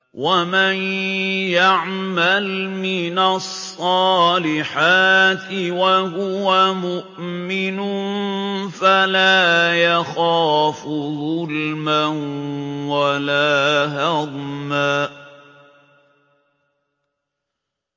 وَمَن يَعْمَلْ مِنَ الصَّالِحَاتِ وَهُوَ مُؤْمِنٌ فَلَا يَخَافُ ظُلْمًا وَلَا هَضْمًا